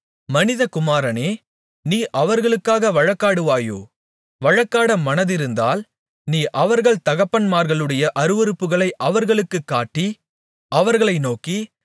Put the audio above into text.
மனிதகுமாரனே நீ அவர்களுக்காக வழக்காடுவாயோ வழக்காட மனதிருந்தால் நீ அவர்கள் தகப்பன்மார்களுடைய அருவருப்புகளை அவர்களுக்கு காட்டி அவர்களை நோக்கி